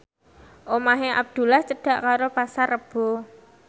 omahe Abdullah cedhak karo Pasar Rebo